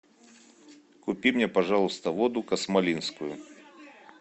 купи мне пожалуйста воду космолинскую